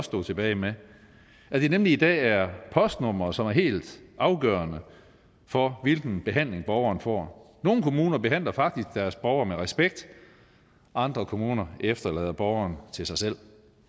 stod tilbage med at det nemlig i dag er postnummeret som er helt afgørende for hvilken behandling borgeren får nogle kommuner behandler faktisk deres borgere med respekt andre kommuner efterlader borgeren til sig selv